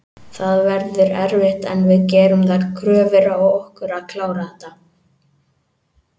Það verður erfitt en við gerum þær kröfur á okkur að klára þetta.